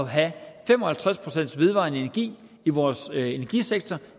have fem og halvtreds procent vedvarende energi i vores energisektor